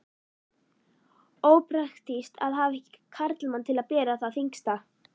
Ópraktískt að hafa ekki karlmann til að bera það þyngsta.